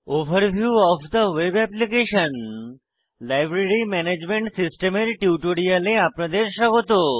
overview of the web application - library management system এর টিউটোরিয়ালে আপনাদের স্বাগত